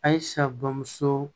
A ye sa bamuso